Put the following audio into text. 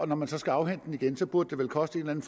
når man så skal afhente den igen burde det vel koste en